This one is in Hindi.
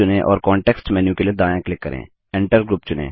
ग्रुप चुनें और कॉन्टेक्स्ट मेन्यू के लिए दायाँ क्लिक करें